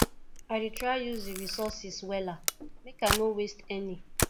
i dey try to use di resources wella make i no waste any